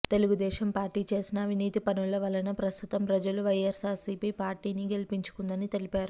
Telugu Desam party చేసిన అవినీతి పనుల వలన ప్రస్తుతం ప్రజలు వైయస్సార్సీపీ పార్టీ ని గెలిపించుకుందని తెలిపారు